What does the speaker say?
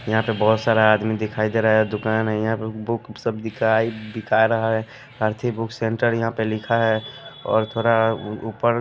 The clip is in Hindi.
यहां पे बहुत सारा आदमी दिखाई दे रहा है। दुकान है यहां पे बुक सब दिखाई बिका रहा है। आरती बुक सेंटर यहां पे लिखा है और थोड़ा उ ऊपर--